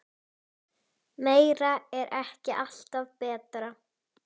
Þarna undi Dysta sér vel.